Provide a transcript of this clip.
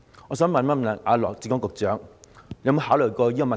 我想請問羅致光局長，他有否考慮過這個問題？